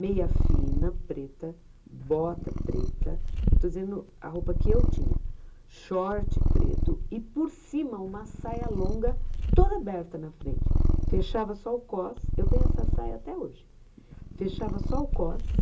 meia fina preta, bota preta, eu estou dizendo a roupa que eu tinha, short preto e por cima uma saia longa toda aberta na frente, fechava só o cos, eu tenho essa saia até hoje, fechava só o cos.